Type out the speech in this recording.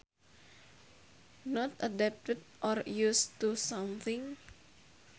Not adapted or used to something